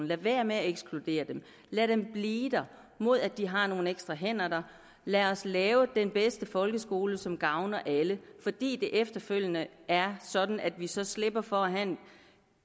lad være med at ekskludere dem lad dem blive der mod at de har nogle ekstra hænder der lad os lave den bedste folkeskole som gavner alle fordi det efterfølgende er sådan at vi så slipper for at have